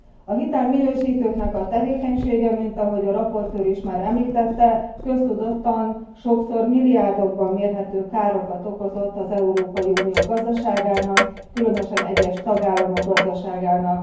A hitelminősítőknek a tevékenysége, mint ahogy a rapporteur is már említette, köztudottan sokszor milliárdokban mérhető károkat okozott az Európai Unió gazdaságának, különösen egyes tagállamok gazdaságának.